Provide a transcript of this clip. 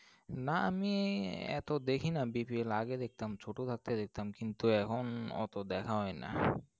না আমি এত দেখিনা BPL আগে দেখতাম, ছোট থাকতে দেখতাম। কিন্তু, এখন অত দেখা হয়না।